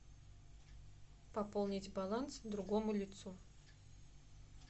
пополнить баланс другому лицу